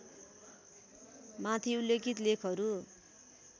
माथि उल्लेखित लेखहरू